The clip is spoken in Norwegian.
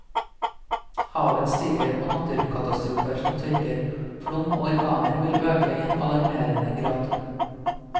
Havet stiger, og naturkatastrofer som tørke, flom og orkaner vil øke i en alarmerende grad.